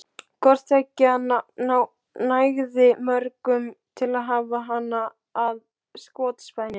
Hvort tveggja nægði mörgum til að hafa hana að skotspæni.